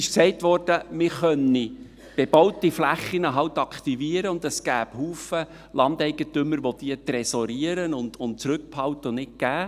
Gesagt wurde, man könne bebaute Flächen halt aktivieren und es gäbe viele Landeigentümer, welche diese «tresorieren», zurückbehalten und nicht abgeben.